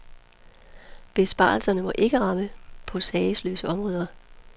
Besparelserne må ikke ramme på sagesløse områder.